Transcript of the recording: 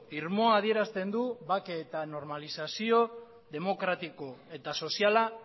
irmoa adierazten du bake eta normalizazio demokratiko eta soziala